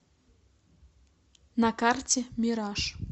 на карте мираж